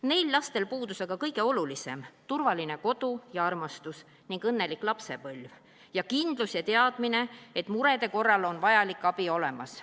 Neil lapsel puudus aga kõige olulisem – turvaline kodu ja armastus, õnnelik lapsepõlv ning kindlus ja teadmine, et murede korral on vajalik abi olemas.